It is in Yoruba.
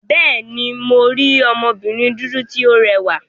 Bẹ́ẹ̀ni, mo rí obìnrin dúdú tí ó rẹwà.